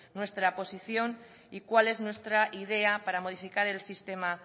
nuestra posición y cuál es nuestra idea para modificar el sistema